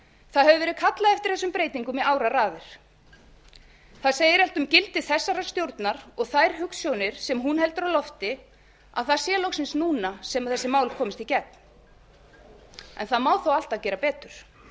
það hefur verið kallað eftir þessum breytingum í áraraðir það segir allt um gildi þessarar stjórnar og þær hugsjónir sem hún heldur á lofti að það sé loksins núna sem þessi mál komist í gegn en það má þó alltaf gera betur